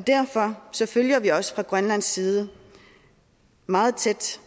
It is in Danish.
derfor følger vi også fra grønlands side meget tæt